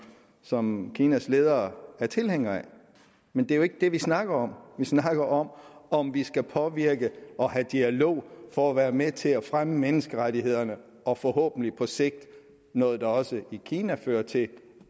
som kinas ledere er tilhængere af men det er jo ikke det vi snakker om vi snakker om om vi skal påvirke og have dialog for at være med til at fremme menneskerettighederne og forhåbentlig på sigt noget der også i kina fører til